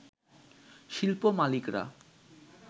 শিল্প মালিকরা